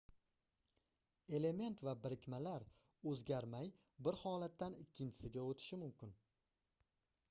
element va birikmalar oʻzgarmay bir holatdan ikkinchisiga oʻtishi mumkin